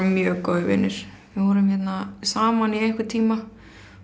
mjög góðir vinir við vorum hérna saman í einhvern tíma